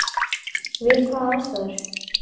Við hvaða aðstæður?